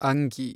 ಅಂಗಿ